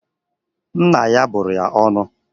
Nna ya bụrụ ya ọnụ.